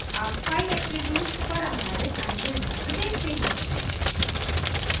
अब file attributes पर आधारित अन्य उदाहरण देखते हैं